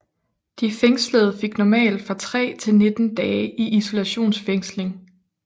De fængslede fik normalt fra tre til 19 dage i isolationsfængsling